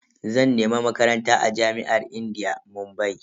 Zan nemi Makaranta a jami'ar indiya, Mumbai.